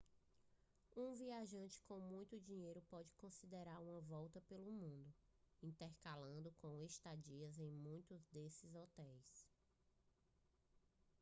um viajante com muito dinheiro pode considerar uma volta pelo mundo intercalando com estadias em muitos desses hotéis